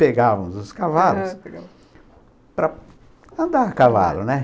Pegávamos os cavalos para andar a cavalo, né?